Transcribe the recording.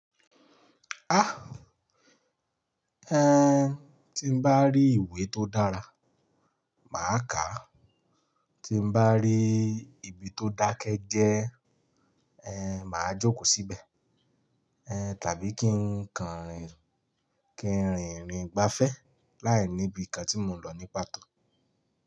Ah! Tí n bá rí ìwé tó dára, màá kà á. Tí n bá rí ibi tó dákẹ́ jẹ́, eh, màá jókòó síbẹ̀. Tàbí kí n kànrìn- kí n rìnrìn gbafẹ́ láìníbi ìkan tí mò ń lọ ní pàtó.